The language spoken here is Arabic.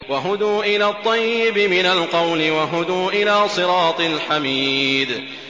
وَهُدُوا إِلَى الطَّيِّبِ مِنَ الْقَوْلِ وَهُدُوا إِلَىٰ صِرَاطِ الْحَمِيدِ